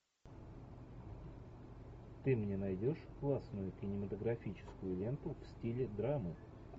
ты мне найдешь классную кинематографическую ленту в стиле драмы